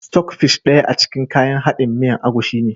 "Stock fish" daya a cikin kayan haɗin miyan agushi ne.